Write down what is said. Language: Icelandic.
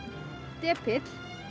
depill